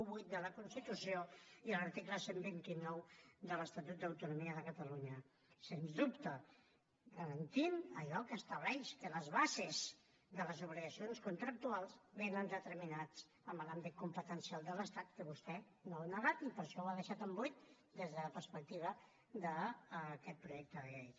vuit de la constitució i l’article cent i vint nou de l’estatut d’autonomia de catalunya sens dubte garantint allò que estableix que les bases de les obligacions contractuals vénen determinades en l’àmbit competencial de l’estat que vostè no ho ha negat i per això ho ha deixat en buit des de la perspectiva d’aquest projecte de llei